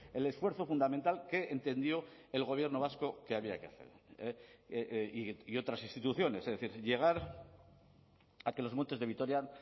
el esfuerzo fundamental que entendió el gobierno vasco que había que hacer y otras instituciones es decir llegar a que los montes de vitoria